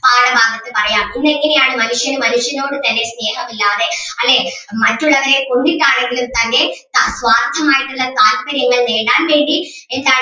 പാഠമാണെന്ന് പറയാം ഇന്ന് ഇങ്ങനെ ആണ് മനുഷ്യൻ മനുഷ്യനോട് തന്നെ സ്നേഹമില്ലാതെ അല്ലേ മറ്റുള്ളവരെ കൊന്നിട്ടാണെങ്കിലും തൻ്റെ അഹ് സ്വാർത്ഥമായുള്ള താൽപര്യങ്ങൾ നേടാൻ വേണ്ടി എന്താണ്